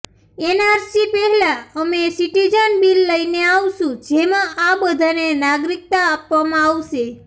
NRC પહેલાં અમે citizen bill લઈને આવીશું જેમાં આ બધાને નાગરિકતા આપવામાં આવશે